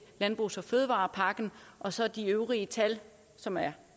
landbrugs og fødevarepakken og så er de øvrige tal som er